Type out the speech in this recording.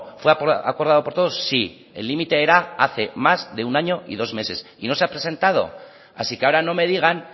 fue acordado por todos sí el límite era hace más de un año y dos meses y no se ha presentado así que ahora no me digan